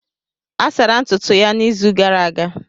A sara ntutu ya n'izu gara aga.